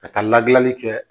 Ka taa ladilanli kɛ